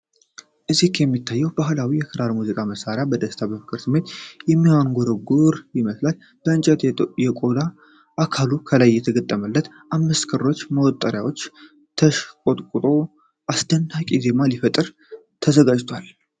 እዚህ የሚታየው ባህላዊ የክራር ሙዚቃ መሳሪያ በደስታና በፍቅር ስሜት የሚያንጎራጉር ይመስላል። የእንጨትና የቆዳ አካሉ ከላይ በተገጠሙት አምስት ክሮችና መወጠሪያዎች ተሽቆጥቁጦ አስደናቂ ዜማ ሊፈጥር ተዘጋጅቷል።